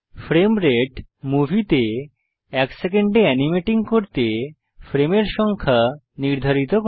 frame rate আমাদের মুভিতে এক সেকেন্ডে এনিমেটিং করার জন্য ফ্রেমের সংখ্যা নির্ধারিত করে